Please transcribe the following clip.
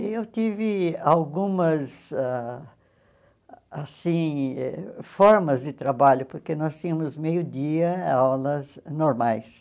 E eu tive algumas ãh assim formas de trabalho, porque nós tínhamos meio-dia aulas normais.